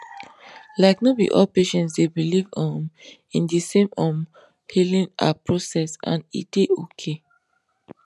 like no be all patients dey believe um in de same um healing ah process and e dey okay